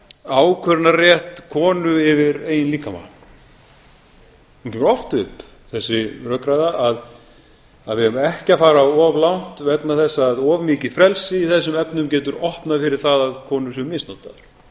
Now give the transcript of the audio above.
ákvörðunarrétti konu yfir eigin líkama hún kemur oft upp þessi rökræða að við eigum ekki að fara of langt vegna þess að of málið frelsi í þessum efnum getur opnað fyrir það að konur séu misnotaðar mér finnst